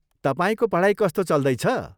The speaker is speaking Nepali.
तपाईँको पढाइ कस्तो चल्दैछ?